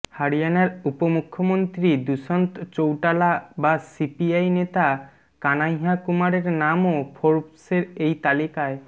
হরিয়ানার উপমুখ্যমন্ত্রী দুষ্যন্ত চৌটালা বা সিপিআই নেতা কানহাইয়া কুমারের নামও ফোর্বসের এই তালিকায়